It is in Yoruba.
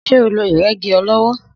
Sé o lo ìrégi olówó?